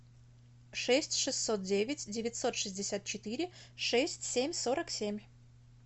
шесть шестьсот девять девятьсот шестьдесят четыре шесть семь сорок семь